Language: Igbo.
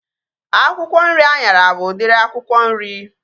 Akwụkwọ nri anyara bụ udiri akwụkwọ nri